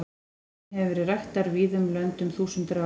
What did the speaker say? Hesturinn hefur verið ræktaður víða um lönd um þúsundir ára.